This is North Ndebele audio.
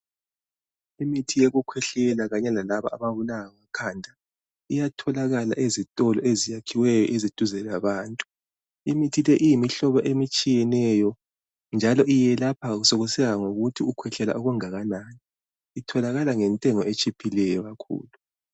Imithi yokukhwehlela kanye lalaba ababulawa ngamakhanda. lyatholakala ezitolo ezakhiweyo eziseduze labantu. Imithi le iyimihlobo etshiyeneyo, njalo yelapha sekusiya ngokuthi ukhwehkela okungakanani. Itholakala ngentengo etshiphileyo kakhulu.